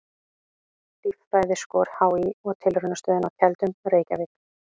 Líffræðiskor HÍ og Tilraunastöðin á Keldum, Reykjavík.